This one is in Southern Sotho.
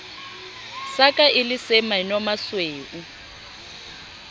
sa ka e le semenomasweu